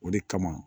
O de kama